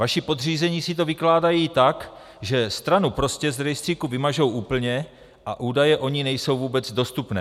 Vaši podřízení si to vykládají tak, že stranu prostě z rejstříku vymažou úplně a údaje o ní nejsou vůbec dostupné.